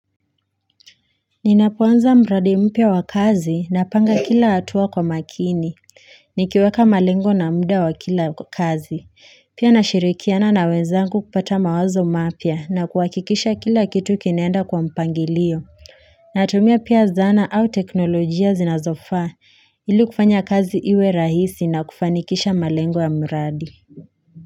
Ninapoanza mradi mpya wa kazi napanga kila hatua kwa makini. Nikiweka malengo na muda wa kila kazi. Pia nashirikiana na wenzangu kupata mawazo mapya na kuhakikisha kila kitu kinaenda kwa mpangilio. Natumia pia zana au teknolojia zinazofaa ili kufanya kazi iwe rahisi na kufanikisha malengo ya mradi.